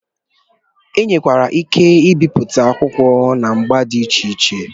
E nwekwara ike ibipụta akwụkwọ n'agba dị iche iche.